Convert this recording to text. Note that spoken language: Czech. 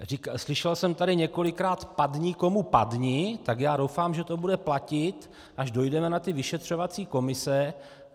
Slyšel jsem tady několikrát padni komu padni, tak já doufám, že to bude platit, až dojdeme na ty vyšetřovací komise.